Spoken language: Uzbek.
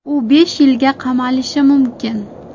U besh yilga qamalishi mumkin.